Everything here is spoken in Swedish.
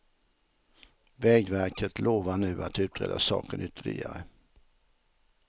Vägverket lovar nu att utreda saken ytterligare.